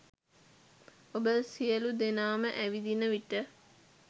ඔබ සියලු දෙනාම ඇවිදින විට